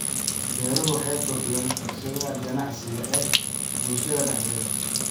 Beeruhu waxay kordhiyaan fursadaha ganacsi ee bulshada dhexdeeda.